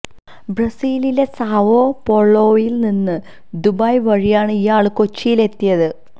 ബ്രസീലിലെ സാവോ പോളോയില് നിന്ന് ദുബായ് വഴിയാണ് ഇയാള് കൊച്ചിയില് എത്തിയത്